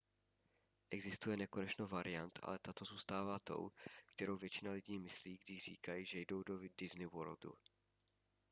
existuje nekonečno variant ale tato zůstává tou kterou většina lidí myslí když říkají že jdou do disney worldu